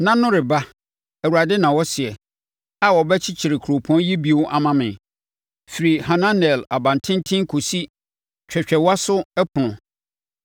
“Nna no reba,” Awurade na ɔseɛ, “a wɔbɛkyekyere kuropɔn yi bio ama me, firi Hananel abantenten kɔsi Twɛtwɛwaso Ɛpono.